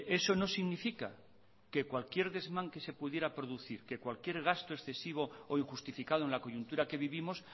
eso no significa que cualquier desmán que se pudiera producir que cualquier gasto excesivo o injustificado en la coyuntura que vivimos